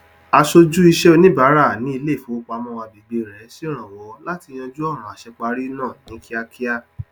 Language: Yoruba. aṣojú iṣẹ oníbàárà ní ilé ifowopamọ agbègbè rẹ ṣèrànwọ láti yanjú ọràn àṣẹparí náà ní kìákìá